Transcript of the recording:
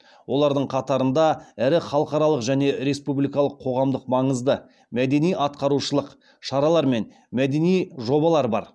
олардың қатарында ірі халықаралық және республикалық қоғамдық маңызды мәдени ағартушылық шаралар мен мәдени жобалар бар